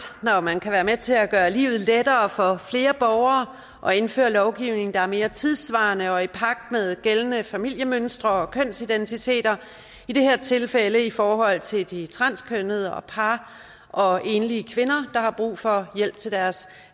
når man kan være med til at gøre livet lettere for flere borgere og indføre lovgivning der er mere tidssvarende og i pagt med gældende familiemønstre og kønsidentiteter i det her tilfælde i forhold til de transkønnede og par og enlige kvinder der har brug for hjælp til deres